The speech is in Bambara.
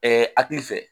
hakili fɛ